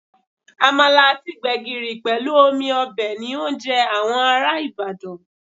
Àmàlà àti gbẹ̀gìrì pẹ̀lú omi ọbẹ̀ ni oúnjẹ àwọn ará Ibadan